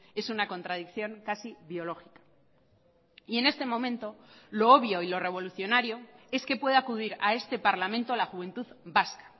es una contradicción casi biológica y en este momento lo obvio y lo revolucionario es que puede acudir a este parlamento la juventud vasca